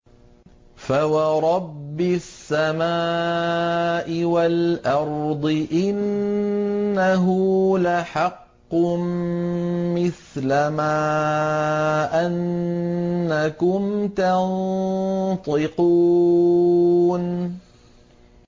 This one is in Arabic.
فَوَرَبِّ السَّمَاءِ وَالْأَرْضِ إِنَّهُ لَحَقٌّ مِّثْلَ مَا أَنَّكُمْ تَنطِقُونَ